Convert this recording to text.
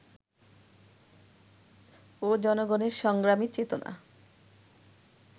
ও জনগণের সংগ্রামী চেতনা